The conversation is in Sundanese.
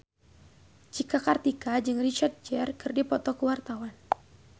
Cika Kartika jeung Richard Gere keur dipoto ku wartawan